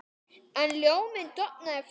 En ljóminn dofnaði fljótt.